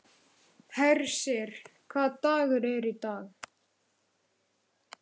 Hersir, hvaða dagur er í dag?